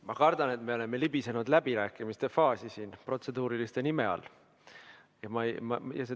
Ma kardan, et me oleme libisenud läbirääkimiste faasi siin protseduuriliste küsimuste nime all.